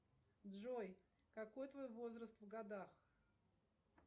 джой какой твой возраст в годах